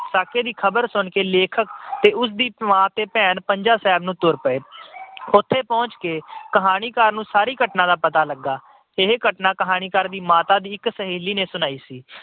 ਸਾਕੇ ਦੀ ਖਬਰ ਸੁਣ ਕੇ ਲੇਖਕ, ਉਸਦੀ ਮਾਂ ਤੇ ਭੈਣ ਪੰਜਾ ਸਾਹਿਬ ਨੂੰ ਤੁਰ ਪਏ। ਉੱਥੇ ਪਹੁੰਚ ਕੇ ਕਹਾਣੀਕਾਰ ਨੂੰ ਸਾਰੀ ਘਟਨਾ ਦਾ ਪਤਾ ਲੱਗਾ। ਇਹ ਘਟਨਾ ਕਹਾਣੀਕਾਰ ਦੀ ਮਾਤਾ ਦੀ ਇਕ ਸਹੇਲੀ ਨੇ ਸੁਣਾਈ ਸੀ।